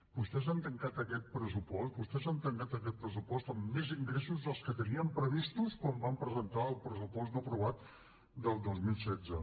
vostès han tancat aquest pressupost amb més ingressos dels que tenien previstos quan van presentar el pressupost no aprovat del dos mil setze